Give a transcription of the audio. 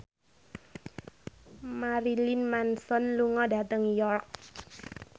Marilyn Manson lunga dhateng York